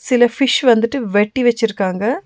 சில ஃபிஷ் வந்திட்டு வெட்டி வெச்சிருக்காங்க.